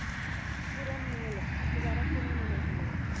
ਪੂਰਨ ਮੇਲ ਦੁਬਾਰਾ ਕਿਵੇਂ ਮਿਲੇ ਸੀ ਉਹ